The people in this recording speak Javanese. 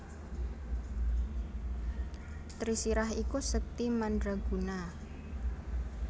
Trisirah iku sekti madraguna